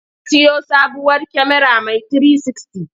Ya siyo sabuwar kyamara mai 360.